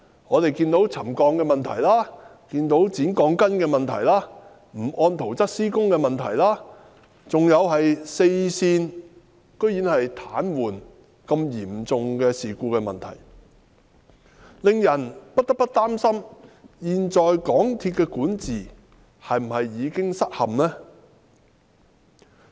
我們看到沉降問題、剪鋼筋問題、不按圖則施工問題，還有四線癱瘓等嚴重事故，令人不得不擔心現時港鐵公司的管治是否已經失陷。